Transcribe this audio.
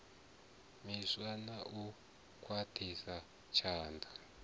miswa na u khwaṱhisa tshanḓa